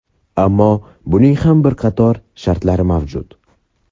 Ammo buning ham bir qator shartlari mavjud.